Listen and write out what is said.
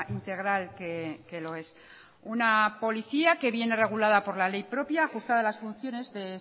integral que lo es una policía que viene regulada por la ley propia ajustada las funciones de